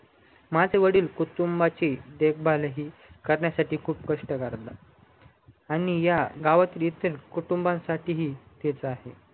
माझे वडील कुटुंबाचेही देखभाल करण्यासाठीही खूप कष्ट करतता आणि या गावातील इतर कुटुंबासाठीही तेच आहे